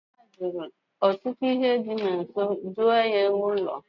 Nne Ada jiri ọtụtụ arịa usekwu doo ya ụlọ.